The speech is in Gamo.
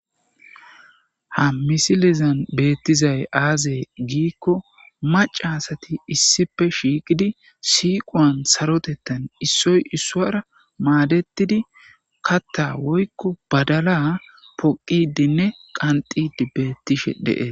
ha misilezan beettizay aazee giikko macasati issife shiiqidi siiqoan sarotettan issoy issuwara maadettidi katta woykko badala poqidinne qanxidi beettishe de'ettes